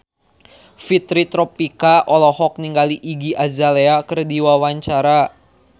Fitri Tropika olohok ningali Iggy Azalea keur diwawancara